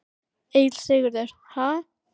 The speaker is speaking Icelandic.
Egill Sigurðsson: Ha?